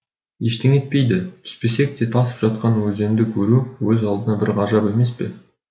ештеңе етпейді түспесек те тасып жатқан өзенді көру өз алдына бір ғажап емес пе